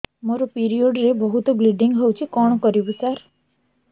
ମୋର ପିରିଅଡ଼ ରେ ବହୁତ ବ୍ଲିଡ଼ିଙ୍ଗ ହଉଚି କଣ କରିବୁ ସାର